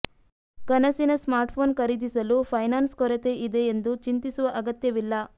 ಕನಸಿನ ಸ್ಮಾರ್ಟ್ಫೋನ್ ಖರೀದಿಸಲು ಫೈನಾನ್ಸ್ ಕೊರತೆ ಇದೆ ಎಂದು ಚಿಂತಿಸುವ ಅಗತ್ಯವಿಲ್ಲ